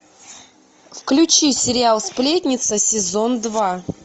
включи сериал сплетница сезон два